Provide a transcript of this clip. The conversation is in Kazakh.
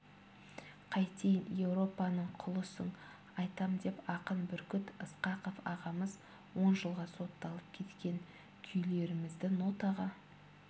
қайтейін еуропаның құлысың айтам деп ақын бүркіт ысқақов ағамыз он жылға сотталып кеткен күйлерімізді нотаға